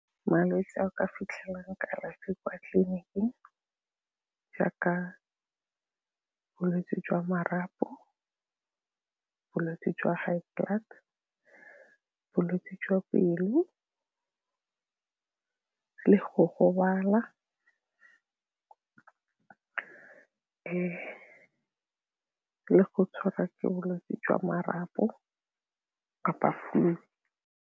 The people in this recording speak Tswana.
Malwetse a o ka fitlhelang kalafi kwa tleliniking jaaka bolwetse jwa marapo, bolwetse jwa high blood, bolwetse jwa pelo le go gobala le go tshwara ke bolwetse jwa marapo kapa flu.